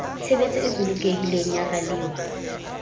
tshebetso e bolokehileng ya ralewa